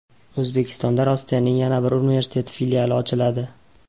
O‘zbekistonda Rossiyaning yana bir universiteti filiali ochiladi.